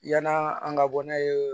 Yan'a an ka bɔ n'a ye